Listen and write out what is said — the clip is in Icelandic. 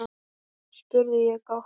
spurði ég gáttuð.